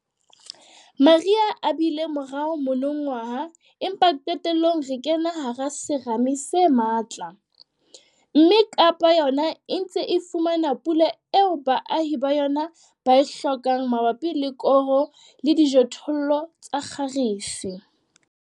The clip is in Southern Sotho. Mariha a bile morao monongwaha empa qetellong re kena hara serame se matla, mme Kaapa yona e ntse e fumana pula eo baahi ba yona ba e hlokang mabapi le koro le dijothollo tsa kgarese.